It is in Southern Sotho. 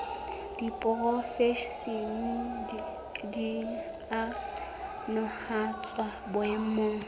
diporofensi di a nahanwa boemong